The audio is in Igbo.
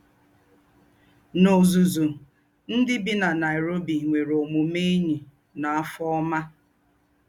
N’ózúzú, ndí́ bí nà Nairobi nwéré òmùmé éṇyí nà àfọ́ ọ́mà